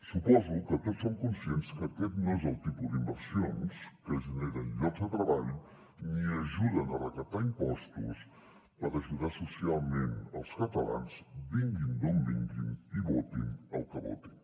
suposo que tots som conscients que aquest no és el tipus d’inversions que generen llocs de treball ni ajuden a recaptar impostos per ajudar socialment els catalans vinguin d’on vinguin i votin el que votin